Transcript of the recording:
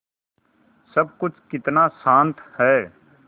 सब कुछ कितना शान्त है